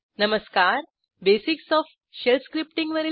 नमस्कारBasics of shell scripting